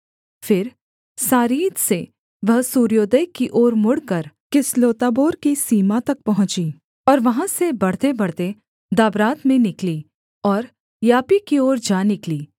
फिर सारीद से वह सूर्योदय की ओर मुड़कर किसलोत्ताबोर की सीमा तक पहुँची और वहाँ से बढ़तेबढ़ते दाबरात में निकली और यापी की ओर जा निकली